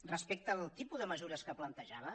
respecte al tipus de mesures que plantejava